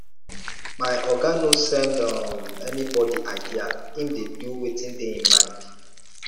my oga no send um anybodi idea im dey do wetin dey im mind